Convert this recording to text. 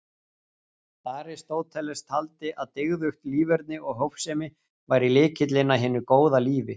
Aristóteles taldi að dygðugt líferni og hófsemi væri lykillinn að hinu góða lífi.